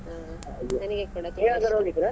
ಹಾ ಕೂಡ .